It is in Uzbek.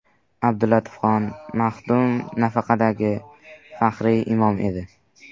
Abdulatifxon maxdum nafaqadagi, faxriy imom edi.